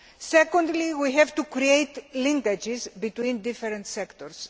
Secondly, we have to create linkages between different sectors.